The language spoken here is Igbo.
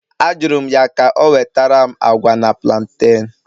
Ajụrụ m ya ka o wetara m agwa na plantain